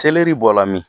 bɔla min